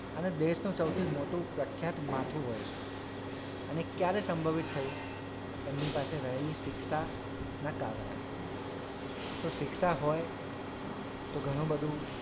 અને દેશનું સૌથી મોટું પ્રખ્યાત માથું હોય છે અને એ ક્યારે સંભવિત થયું એમની પાસે રહેલી શિક્ષાના કારણે જો શિક્ષા હોય તો ઘણું બધું,